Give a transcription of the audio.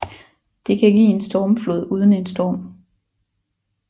Det kan give en stormflod uden en storm